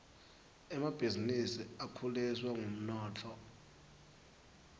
emabhisinisi akhuliswa ngumnotfo